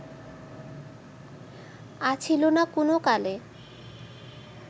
আছিল না কুনোকালে